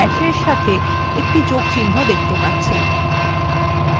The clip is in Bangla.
আপনি বাঁকানো ড্যাসএর সাথে একটি যোগ চিহ্ন দেখতে পাচ্ছেন